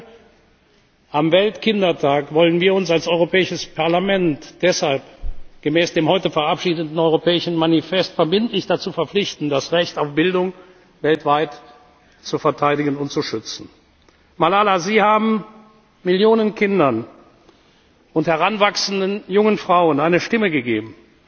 Heute, am Weltkindertag, wollen wir uns als Europäisches Parlament deshalb gemäß dem heute verabschiedeten europäischen Manifest verbindlich dazu verpflichten, das Recht auf Bildung weltweit zu verteidigen und zu schützen. Malala, Sie haben Millionen Kindern und heranwachsenden jungen Frauen eine Stimme gegeben.